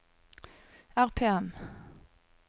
RPM